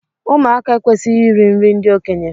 Ụmụaka ekwesịghị iri nri ndị okenye.